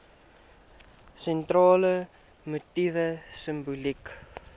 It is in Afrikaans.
sentrale motief simboliek